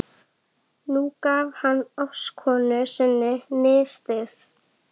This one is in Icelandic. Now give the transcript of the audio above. Nú gaf hann ástkonu sinni nistið.